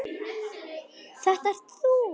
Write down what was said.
Þetta ert þú!